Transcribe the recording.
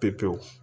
Pepewu